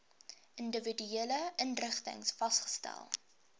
individuele inrigtings vasgestel